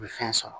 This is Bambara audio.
U bɛ fɛn sɔrɔ